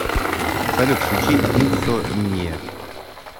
салют включи инсомния